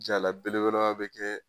Jaala belebeleba be kɛ